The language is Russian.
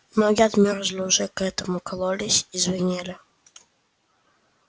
ноги отмёрзли уже к этому кололись и звенели